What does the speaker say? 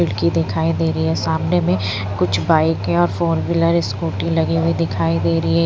लड़की दिखाई दे रही है सामने में कुछ बाइक है और फोर व्हीलर स्कूटी लगी हुई दिखाई दे रही है।